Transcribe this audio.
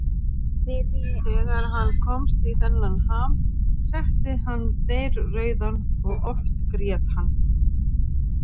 Þegar hann komst í þennan ham, setti hann dreyrrauðan og oft grét hann.